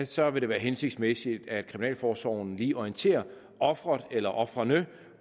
så vil det være hensigtsmæssigt at kriminalforsorgen lige orienterer offeret eller ofrene